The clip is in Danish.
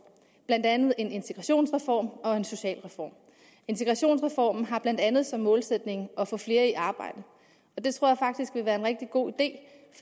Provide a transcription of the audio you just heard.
blandt andet en integrationsreform og en socialreform integrationsreformen har blandt andet som målsætning at få flere i arbejde og det tror jeg faktisk vil være en rigtig god